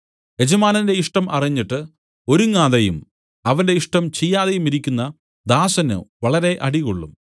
യജമാനന്റെ ഇഷ്ടം അറിഞ്ഞിട്ട് ഒരുങ്ങാതെയും അവന്റെ ഇഷ്ടം ചെയ്യാതെയുമിരിക്കുന്ന ദാസന് വളരെ അടികൊള്ളും